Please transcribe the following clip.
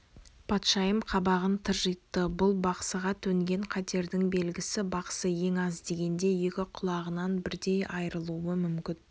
патшайым қабағын тыржитты бұл бақсыға төнген қатердің белгісі бақсы ең аз дегенде екі құлағынан бірдей айрылуы мүмкін